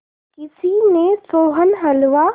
किसी ने सोहन हलवा